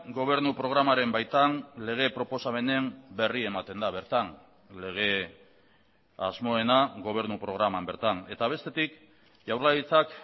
gobernu programaren baitan lege proposamenen berri ematen da bertan lege asmoena gobernu programan bertan eta bestetik jaurlaritzak